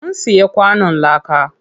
Mun siya kwanon láka.